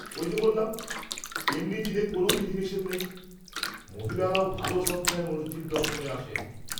-ওই যে বললাম, এমনি দিনে কোন বিধিনিষেধ নেই।